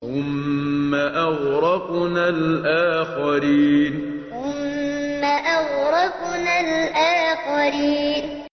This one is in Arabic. ثُمَّ أَغْرَقْنَا الْآخَرِينَ ثُمَّ أَغْرَقْنَا الْآخَرِينَ